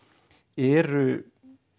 eru